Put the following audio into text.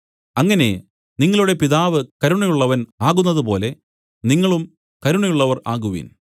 അങ്ങനെ നിങ്ങളുടെ പിതാവ് കരുണയുള്ളവൻ ആകുന്നതുപോലെ നിങ്ങളും കരുണയുള്ളവർ ആകുവിൻ